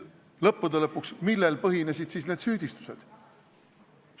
Lõppude lõpuks, millel põhinesid siis need süüdistused?